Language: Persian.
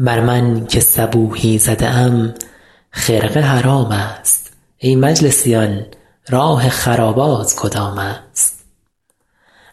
بر من که صبوحی زده ام خرقه حرام است ای مجلسیان راه خرابات کدام است